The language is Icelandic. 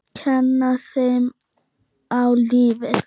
Kenna þeim á lífið.